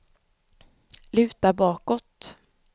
luta bakåt